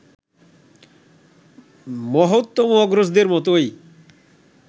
মহত্তম অগ্রজদের মতোই